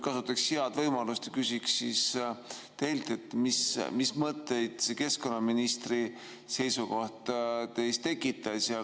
Kasutaks head võimalust ja küsiks teilt, mis mõtteid see keskkonnaministri seisukoht teis tekitas.